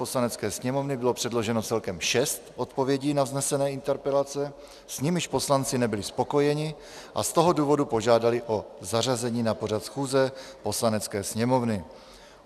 Poslanecké sněmovny bylo předloženo celkem šest odpovědí na vznesené interpelace, s nimiž poslanci nebyli spokojeni, a z toho důvodu požádali o zařazení na pořad schůze Poslanecké sněmovny.